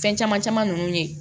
Fɛn caman caman ninnu ye